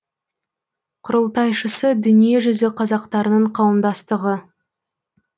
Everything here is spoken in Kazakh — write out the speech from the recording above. құрылтайшысы дүние жүзі қазақтарының қауымдастығы